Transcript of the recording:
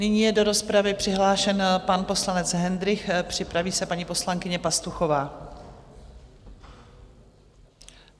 Nyní je do rozpravy přihlášen pan poslanec Hendrych, připraví se paní poslankyně Pastuchová.